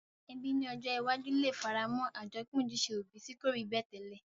Ebí ni ojó iwájú le faramó àjopín ojúse òbi ti ko rí bẹ́ẹ̀ tẹ́lẹ̀